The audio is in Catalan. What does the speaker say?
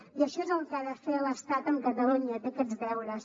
i això és el que ha de fer l’estat amb catalunya té aquests deures